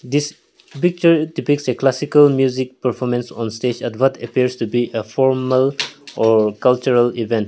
this picture depicts a classical music performance on stage at what appears to be a formal or cultural event.